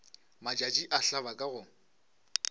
matšatši a hlaba ka go